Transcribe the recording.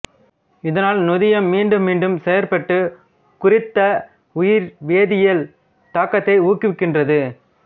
இதனால் நொதியம் மீண்டும் மீண்டும் செயற்பட்டு குறித்த உயிர்வேதியல் தாக்கத்தை ஊக்குவிக்கின்றது